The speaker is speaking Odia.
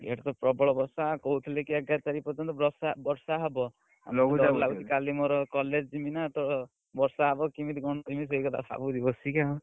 ଇଆଡେ ତ ପ୍ରବଳ ବର୍ଷା କହୁଥିଲି ଏଗାର ତାରିଖ ପର୍ଜୟନ୍ତ ବର୍ଷା ହବ, କାଲି ମୋର college ଯିବି ନା ତ ବର୍ଷା ହବ କେମିତି କଣ ଯିବି ସେଇ କଥା ଭାବୁଛି ବସିକି ଆଉ।